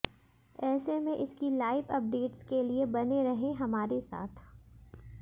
ऐसे में इसकी लाइव अपडेट्स के लिए बने रहें हमारे साथ